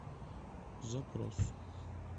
запрос